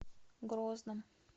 грозном